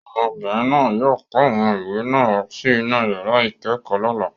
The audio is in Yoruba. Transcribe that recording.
Ọmọbìnrin náà yóò kó àwọn ìwé náà wá sí inú yàrá ìkẹ́kọ̀ọ́ lọ́la.